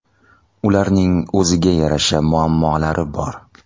Ularning o‘ziga yarasha muammolari bor.